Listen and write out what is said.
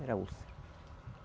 Era úlcera.